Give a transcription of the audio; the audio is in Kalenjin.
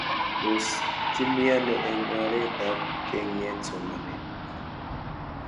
Tos kimii ano eng' oret ab keng'et somanet